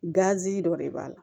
dɔ de b'a la